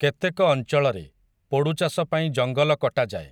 କେତେକ ଅଞ୍ଚଳରେ, ପୋଡ଼ୁଚାଷ ପାଇଁ ଜଙ୍ଗଲ କଟାଯାଏ ।